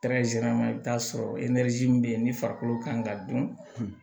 i bɛ t'a sɔrɔ min bɛ yen ni farikolo kan ka dɔn